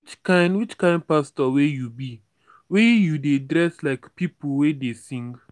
which kind which kind pastor wey you be wey you dey dress like pipu wey dey sing?